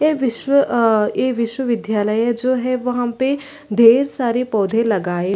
ए विश्व अ ए विश्वविध्यालय जो है वहाँ पे ढेर सारे पौधे लगाए --